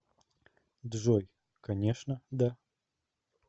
джой конечно да